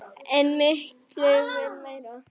En mikið vill meira.